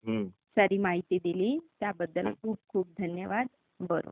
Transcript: सारी माहिती दिली त्याबद्दल खूप खूप धन्यवाद, बरं.